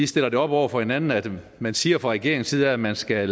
stiller det op over for hinanden at man siger fra regeringens side at man skal